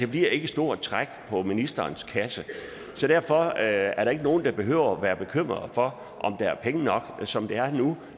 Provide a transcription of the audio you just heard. bliver ikke et stort træk på ministerens kasse derfor er er der ikke nogen der behøver at være bekymrede for om der er penge nok som det er nu